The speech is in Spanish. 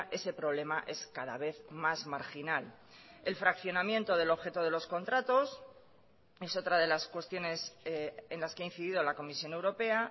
ese problema es cada vez más marginal el fraccionamiento del objeto de los contratos es otra de las cuestiones en las que ha incidido la comisión europea